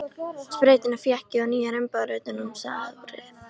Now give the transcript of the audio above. Sprautuna fékk ég og nýjar umbúðir utan um sárið.